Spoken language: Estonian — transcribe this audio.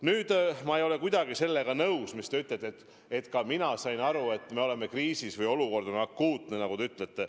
Nüüd, ma ei ole kuidagi nõus, mis te ütlesite, et ka mina sain aru, et me oleme kriisis või et olukord on akuutne, nagu te ütlete.